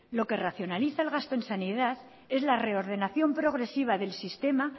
lo que racionaliza el gasto en sanidad es la reordenación progresiva del sistema